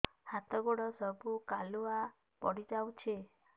ହାତ ଗୋଡ ସବୁ କାଲୁଆ ପଡି ଯାଉଛି